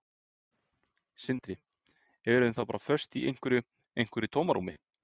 Sindri: Erum við þá bara föst í einhverju, einhverju tómarúmi?